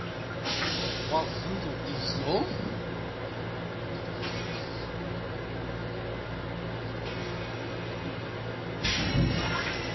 wa vundu iḽo uri a